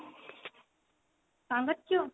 କଣ କରୁଚୁ